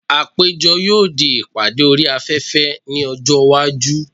Àpéjọ yóò di ìpàdé orí afẹ́fẹ́ ní ọjọ́ iwájú.